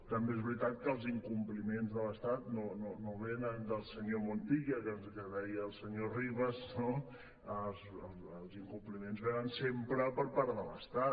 també és veritat que els incompliments de l’estat no venen del senyor montilla que deia el senyor rivas els incompliments venen sempre per part de l’estat